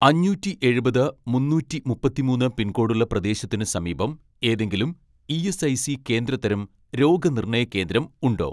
അഞ്ഞൂറ്റിയെഴുപത് മുന്നൂറ്റിമുപ്പത്തിമൂന്ന് പിൻകോഡുള്ള പ്രദേശത്തിന് സമീപം ഏതെങ്കിലും ഇ.എസ്.ഐ.സി കേന്ദ്ര തരം രോഗനിർണയ കേന്ദ്രം ഉണ്ടോ